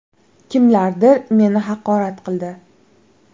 Kimlardir meni haqorat qildi.